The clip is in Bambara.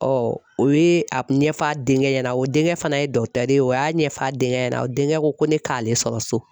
o ye a ɲɛfɔ a denkɛ ɲɛna o denkɛ fana ye dɔtɛri ye o y'a ɲɛfɔ a denkɛ ɲɛna o denkɛ ko ko ne k'ale sɔrɔ so.